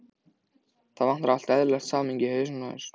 Það vantar allt eðlilegt samhengi í hausinn á þér.